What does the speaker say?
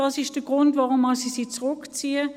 Dies ist der Grund, weshalb ich sie zurückziehe.